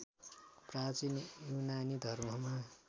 प्रचीन युनानी धर्ममा